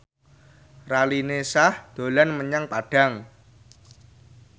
Raline Shah dolan menyang Padang